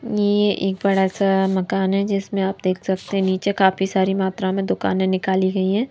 ये एक बड़ा सा मकान है जिसमें आप देख सकते नीचे काफी सारी मात्रा में दुकान निकाली गई है।